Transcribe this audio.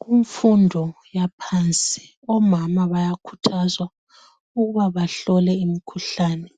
Kumfundo yaphansi omama bayakhuthazwa ukuba bahlole imikhuhlane.